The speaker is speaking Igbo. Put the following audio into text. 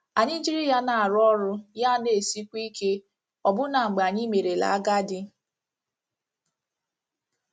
Anyị jiri ya na - arụ ọrụ, ya ana - esikwu ike, ọbụna mgbe anyị merela agadi.